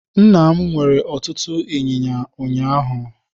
Nna m nwere ọtụtụ inyinya ụnyaahụ.